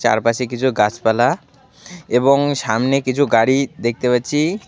তার পাশে কিছু গাসপালা এবং সামনে কিছু গাড়ি দেখতে পাচ্ছি।